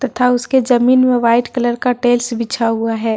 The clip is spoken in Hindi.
तथा उसके जमीन मे व्हाइट कलर का टाइल्स बिछा हुआ है।